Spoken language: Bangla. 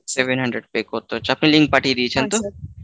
Seven hundred pay করতে হচ্ছে আপনি link পাঠিয়ে দিয়েছেন তো?